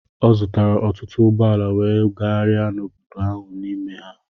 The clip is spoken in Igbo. Ọ zụtara ọtụtụ ụgbọ ala wee gagharịa n'obodo ahụ n'ime ha.